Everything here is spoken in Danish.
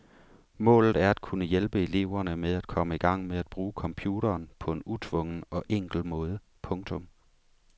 Målet er at kunne hjælpe eleverne med at komme i gang med at bruge computeren på en utvungen og enkel måde. punktum